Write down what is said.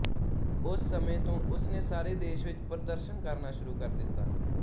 ਉਸ ਸਮੇਂ ਤੋਂ ਉਸਨੇ ਸਾਰੇ ਦੇਸ਼ ਵਿੱਚ ਪ੍ਰਦਰਸ਼ਨ ਕਰਨਾ ਸ਼ੁਰੂ ਕਰ ਦਿੱਤਾ